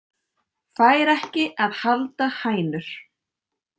Fær ekki að halda hænur